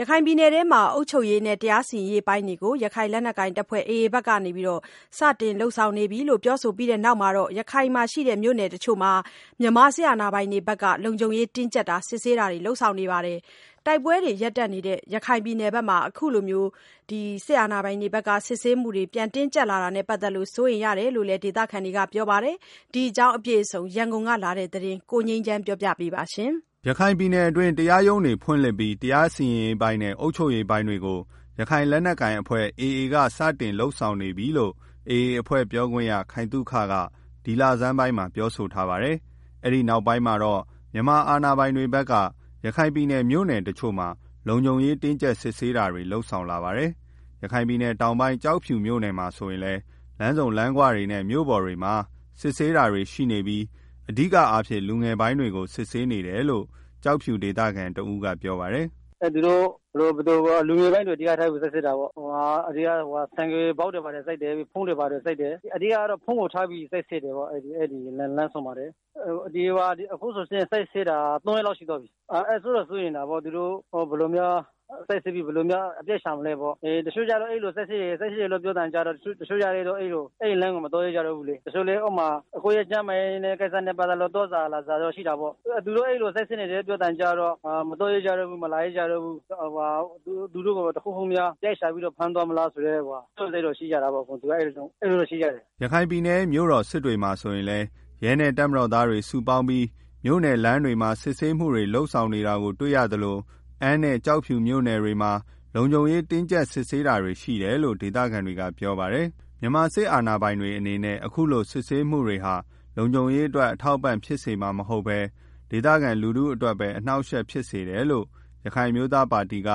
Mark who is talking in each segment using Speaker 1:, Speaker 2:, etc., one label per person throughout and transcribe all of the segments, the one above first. Speaker 1: ရခိုင်ပြည်နယ်မှာ အုပ်ချုပ်ရေးနဲ့ တရားစီရင်ရေးပိုင်းတွေကို ရခိုင်လက်နက်ကိုင် AAအဖွဲ့ ဖက်စတင်လုပ်ဆောင်နေပြီလို့ ပြောဆိုပြီးနောက် ရခိုင်ကမြို့နယ်တစ်ချို့မှာ မြန်မာစစ်အာဏာပိုင်တွေဖက်က လုံခြုံတင်းကြပ် စစ်ဆေးတာတွေ လုပ်ဆောင်နေပါတယ်။ တိုက်ပွဲတွေ ရပ်တန့်ထားတဲ့ ရခိုင်ပြည်နယ်မှာ အခုလို စစ်ဆေးမှုတွေ တင်းကြပ်လာတာနဲ့ ပတ်သတ်ပြီး စိုးနေရတယ်လို့လည်း ဒေသခံတွေက ပြောဆိုကြပါတယ်။ ဒီကြောင်းအပြည့်အစုံ ရန်ကုန်က လာတဲ့ သတင်းကို ကိုငြိမ်းချမ်းပြောပြပါမယ်။
Speaker 2: ရခိုင်ပြည်နယ်အတွင်း တရားရုံးတွေ ဖွင့်လှစ်ပြီး တရားစီရင်ရေးပိုင်းနဲ့ အုပ်ချုပ်ရေး ပိုင်းတွေကို ရခိုင် လက်နက်ကိုင် AAအဖွဲ့ဖက်က စတင်ပြီး လုပ်ဆောင်နေပြီလို့ AA အဖွဲ့ ပြောခွင့်ရ ခိုင်သုခ ဒီလဆန်းပိုင်းကပြောဆိုထားပါတယ်။ အဲဒီနောက်ပိုင်းမှာတော့ မြန်မာအာဏာ ပိုင်တွေက ရခိုင်ပြည်နယ်က မြို့နယ် တစ်ချို့မှာ လုံခြုံရေး တင်းကြပ်စစ်ဆေးတာတွေ လုပ်ဆောင်လာတာပါ။ ရခိုင်ပြည်နယ်တောင်ပိုင်းက ကျောက်ဖြူမြို့နယ်မှာ ဆိုရင်လည်း လမ်းဆုံလမ်းခွတွေနဲ့ မြို့ပေါ်တွေမှာ စစ်ဆေးနေတာတွေရှိနေပြီး အဓိကအားဖြင့် လူငယ်ပိုင်းတွေကို စစ်ဆေး နေတာများတယ်လို့ ကျောက်ဖြူ ဒေသခံတစ်ဦးကပြောပါတယ်။
Speaker 1: “ လူငယ်ပိုင်းတွေကို စစ်တာများတယ်။ ဆိုင်ကယ်ဘောက်တွေ ဖုန်းတွေ ဘာတွေ စစ်တယ်။ အဓိကတော့ ဖုန်းကို စစ်ဆေးတာ များတယ်။ လမ်းဆုံတွေမှာ။ အခုဆိုရင် စစ်ဆေးနေတာ သုံးရက်လောက်ရှိသွားပြီ။ စိုးရိမ်တာပေါ့ သူတို့ ဘယ်လို စစ်ဆေးပြီး အပြစ်ရှာမလည်း တစ်ချို့ကျတော့လည်း စစ်ဆေးတယ်လို့ ပြောတာနဲ့ အဲဒီလမ်းကို မသွားရဲကျတော့ဘူး။ ကျန်းမာကိစ္စတွေနဲ့ သွားစရာလာစရာရှိရင်လည်း သူတို့ အဲလို စစ်ဆေးနေတယ်လို့ ပြောသံကြားတာနဲ့ မသွားရကြတော့ဘူး။ သူတို့ကို တစ်ခုခုများ အပြစ်ရှာပြီးတော့ ဖမ်းသွားမလား ဆိုပြီး စိုးရိမ်ကြတာပေါ့။
Speaker 2: ” ရခိုင်ပြည်နယ်ရဲ့ မြို့တော် စစ်တွေမှာ ဆိုရင်လည်း ရဲနဲ့ စစ်သားတွေ စုပေါင်းပြီး မြို့နယ် လမ်းတွေမှာ စစ်ဆေးမှုတွေ လုပ်ဆောင်နေတာကို တွေ့ရသလို အမ်းနဲ့ ကျောက်ဖြူမြို့နယ်တွေမှာလည်း လုံခြုံရေး တင်းကြပ်စစ်ဆေးနေတာတွေ ရှိတယ်လို့ ဒေသခံတွေက ပြောပါတယ်။ မြန်မာစစ်အာဏာပိုင်တွေအနေနဲ့ အခုလို စစ်ဆေးမှုတွေဟာ လုံခြုရေးအတွက်အထောက်အပံ့ဖြစ်မှာမဟုတ်ပဲ၊ ဒေသခံလူထုအတွက်ပဲ အနှောက်အယှက်ဖြစ်စေတယ်လို့ ရခိုင်အမျိုးသားပါတီက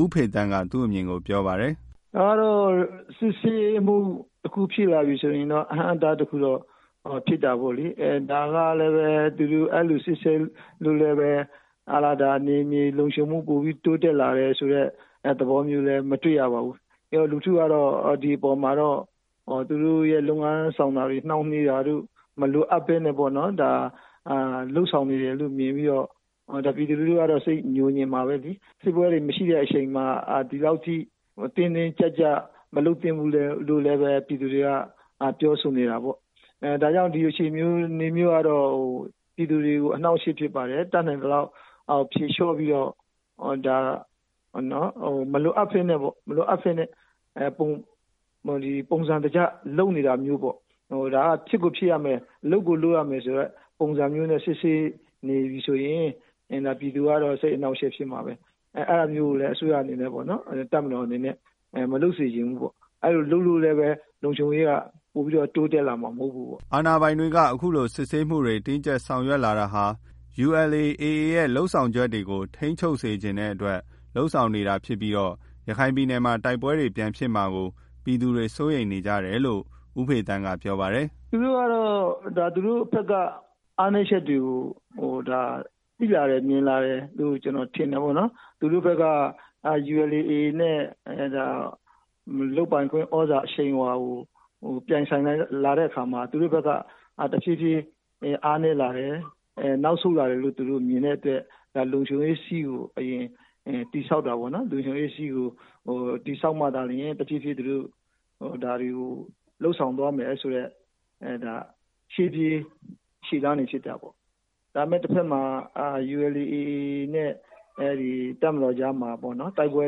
Speaker 2: ဦးဖေသန်းက သူ့အမြင်ပြောပါတယ် ။ “စစ်ဆေးမှု
Speaker 3: တခု ဖြစ်လာပြီဆိုတော့ အဟန့်အတား တခုဖြစ်တာပေါ့လေ ဒါကလည်း သူတို့ အဲလို စစ်ဆေးလို့လည်းပဲ ဒေသလုံခြုံရေး ပိုပြီးတော့ တိုးတက်လာတာမရှိဘူး။ လူထုကတော့ ဒီမပေါ်မှာ သူတို့ရဲ့ လုပ်ငန်းဆောင်တာတွေ နှောင့်နှေးတာတို့ မလိုအပ်ပဲ လုပ်ဆောင်နေ တာလို့မြင်ပြီးတော့ ပြည်သူတွေကတော့ စိတ်ညိုငြင်မှာပဲလေ။ တိုက်ပွဲတွေ ရပ်တန့်ထားတဲ့ အချိန်မှာ အခုလို မလုပ်သင့်ဘူးလို့လည်း ပြည်သူတွေ ပြောဆိုနေကြတယ်။ ဒီဟာ ပြည်သူ တွေကို အနှောင့်အယှက်ဖြစ်ပါတယ်။ ဒါကြောင့် ဒီဟာတွေကို ဖြေလျော့ပြီး တော့ မလိုအပ်ပဲနဲ့ ပုံစံတကျ လုပ်နေတာမျိုး ဒါက ဖြစ်ကိုဖြစ်ရမယ် လုပ်ကိုလုပ်ရ မယ်ဆိုတဲ့ ပုံစံမျိုးနဲ့ စစ်ဆေး နေပြီးဆိုရင် ဒါပြည်သူက စိတ်အနှာင့် အယှက်ဖြစ်စေမှာပဲ။ အဲတာမျိုးကို တပ်မတော်အနေနဲ့ မလုပ်စေချင်ဘူး။ အဲလိုလုပ်လို့လည်း လုံခြုံရေးက ပိုပြီးတော့ တိုးတက်လာမှာ မဟုတ်ဘူးပေါ့
Speaker 2: ။” အာဏာပိုင်တွေက အခုလို စစ်ဆေးမှုတွေ တင်းကြပ်ဆောင်ရွက်လာတာဟာ ULA/AAရဲ့ လုပ်ဆောင်ချက်တွေကို ထိန်းချုပ်စေချင်တဲ့အတွက် လုပ်ဆောင်နေတာဖြစ်ပြီး ရခိုင်ပြည်နယ်မှာ တိုက်ပွဲတွေ ပြန်ဖြစ်မှာကို ပြည်သူတွေက စိုးရိမ်နေကြတယ်လို့လည်း ဦးဖေသန်းက ပြောပါတယ်။
Speaker 3: “သူတို့ကတော့ သူတို့ဖက်က အားနည်းချက်တွေကို သိလာတယ် မြင်လာတယ်လို့ ကျနော် ထင်တယ်ပေါ့နော်။ သူတို့ဖက်က ULA/AAနဲ့ လုပ်ပိုင်ခွင့် သြဇာအရှိန်အဝါကို ပြိုင် ဆိုင် လာတဲ့ အခါမှာ သူတို့ဖက်က တစ်ဖြည်းဖြည်း အားနည်းလာတယ်။ နောက် ဆုတ်လာတယ်လို့ သူတို့မြင်တဲ့အတွက် ဒါလုံခြုံရေး စည်းကို အရင်တည်ဆောက်တာပေါ့နော်။ လုံခြုံရေး စည်းကို တည်ပြီးမှ ကျန်တာကို တစ်ဖြေးဖြေးလုပ်ဆောင်သွားမယ်ဆိုတဲ့ ရှေ့ပြေးလုပ်တာဖြစ်တယ်။ တစ်ဖက်မှာလည်း ULA/ AA နဲ့ တပ်မတော်ကြားမှာ တိုက်ပွဲ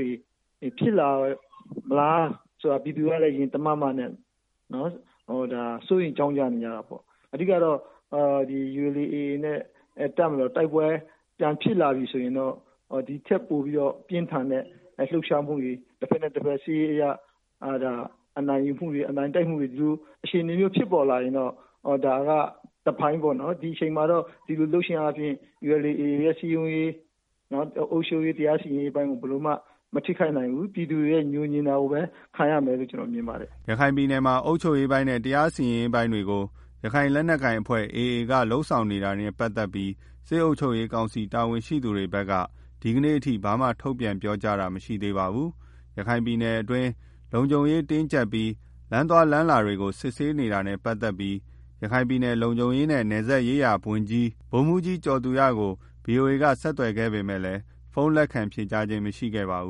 Speaker 3: တွေ ဖြစ်လာမလားဆိုတာလည်း ပြည်သူတွေက ရင်တမတ်မတ်နဲ့ စိုးရိမ်နေကြတာပေါ့။ အဓိကတော့ တပ်မတော်နဲ့ AA တိုက်ပွဲ တွေ ပြန်ဖြစ်လာပြီဆိုရင်တော့ ဒီထက်ပိုပြီးတော့ ပြင်းထန်တဲ့ လှုပ်ရှားမှုတွေ တစ်ဖက်နဲ့ တစ်ဖက် စစ်ရေး အရ အနိုင်ယူမှုတွေ ဒီလိုအခြေအနေမျိုးဖြစ်ပေါ်လာနိုင်တာကတော့ တစ်ပိုင်း ပေါ့နော်။ ဒီအချိန်မှာ ဒီလိုလုပ်တာက ULA/AAရဲ့ စည်းရုံးရေးတွေ အုပ်ချုပ်ရေး တရား စီရင်ရေး ပိုင်းကို ဘယ်လိုမှ မထိခိုက်နိုင်ဘူး ပြည်သူတွေရဲ့ ညိုငြင်တာကိုပဲ ခံရနိုင်တယ်လို့ ကျနော်မြင်ပါတယ်။
Speaker 2: ” ရခိုင်ပြည်နယ်မှာ အုပ်ချုပ်ရေးပိုင်းနဲ့ တရားစီရင်ရေး ပိုင်းတွေကို ရခိုင်လက်နက်ကိုင်AAအဖွဲ့က လုပ်ဆောင်နေတာနဲ့ ပတ်သက်ပြီးတော့ စစ်အုပ်ချုပ်ရေးကောင်စီတာဝန်ရှိသူတွေဖက်က ဒီကနေ့အထိ ဘာမှ ထုတ်ပြန်ပြောဆိုထားတာမရှိသေးပါဘူး။ ရခိုင်ပြည် တွင်း လုံခြုံရေးတင်းကြပ်ပြီး လမ်းသွားလမ်းလာလူတွေကို စစ်ဆေးနေတာနဲ့ ပတ်သက်ပြီး ရခိုင်ပြည်နယ် လုံခြုံရေးနဲ့ နယ်စပ်ရေးရာဝန်ကြီး ဗိုလ်မှူးကြီး ကျော်သူရကို ဗွီအိုအေက ဆက်သွယ်ခဲ့ပေမယ့် ဖုန်းလက်ခံ ဖြေဆိုခဲ့ခြင်းမရှိပါဘူး